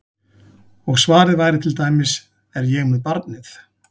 Og svarið væri til dæmis: Er ég með barnið?